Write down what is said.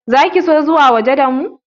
Za ki so zuwa waje da mu?